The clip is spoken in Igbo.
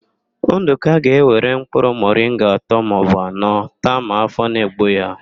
Ndụka ga-ewere mkpụrụ mọringa atọ maọbụ anọ taa ma áfọ̀ na-egbu ya.